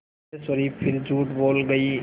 सिद्धेश्वरी फिर झूठ बोल गई